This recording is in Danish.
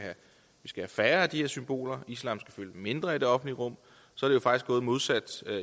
være færre af de her symboler og islam skal fylde mindre i det offentlige rum er det faktisk gået modsat